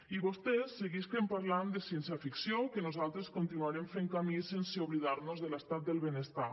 i vostès seguisquen parlant de ciència ficció que nosaltres continuarem fent camí sense oblidar nos de l’estat del benestar